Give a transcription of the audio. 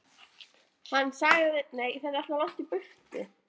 Hann sagðist ekkert vita.